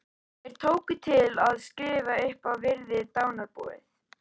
Þeir tóku til við að skrifa upp og virða dánarbúið.